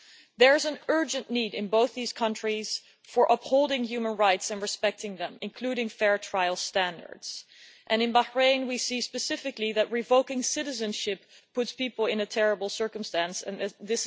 There is an urgent need in both these countries for upholding human rights and respecting them, including fair trial standards, and in Bahrain we see specifically that revoking citizenship puts people in a terrible situation